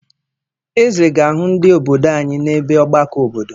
Eze ga-ahụ ndị obodo anyị n'ebe ọgbakọ obodo.